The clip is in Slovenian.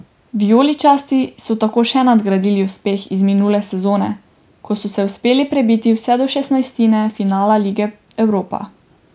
Vijoličasti so tako še nadgradili uspeh iz minule sezone, ko so se uspeli prebiti vse do šestnajstine finala lige Evropa.